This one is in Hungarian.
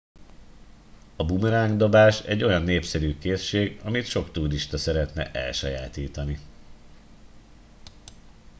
a bumeráng dobás egy olyan népszerű készség amit sok turista szeretne elsajátítani